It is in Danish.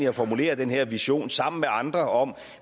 at formulere den her vision sammen med andre om at